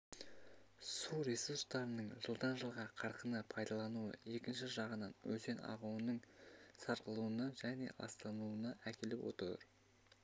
су ресурстарының жылдан жылға қарқынды пайдаланылуы екінші жағынан өзен ағуының сарқылуына және ластануына әкеліп отыр